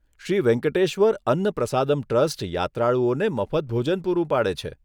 Shri Venkateshwara Anna Prasadam trust યાત્રાળુઓને મફત ભોજન પૂરું પાડે છે.